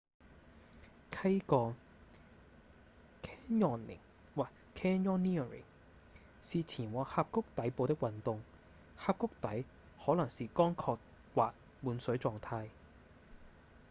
溪降 canyoning 或 canyoneering 是前往峽谷底部的運動峽谷底可能是乾涸或滿水狀態